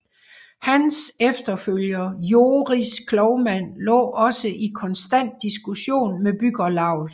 Hans efterfølger Joris Klovman lå også i konstant diskussion med bryggerlauget